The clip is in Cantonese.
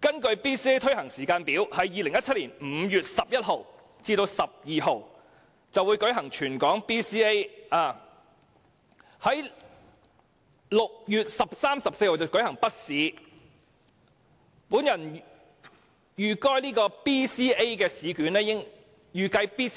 根據 BCA 推行的時間表 ，2017 年5月11日至12日將會舉行全港性小學六年級說話及視聽資訊評估，並在6月13日和14日舉行小學三年級紙筆